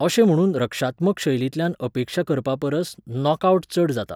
अशें म्हणून रक्षात्मक शैलींतल्यान अपेक्षा करपापरस नॉकआवट चड जाता.